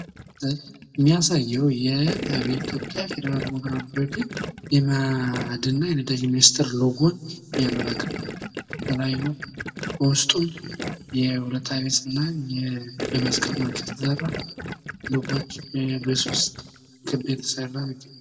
ይህ የሚያሳየው የኢትዮጵያ ፌዴራላዊ ደሞክራሲያዊ ሪፐብክ የማዕድንና የነዳጅ ሚኒስቴር ሎጎ ነው። የተለያዩ በውስጡ የሁለት አይነትና የመስቀል ምልክት የተሰራ ከማጭድ የተሰራ ሎጎች በሶስት ክብ የተሰራ።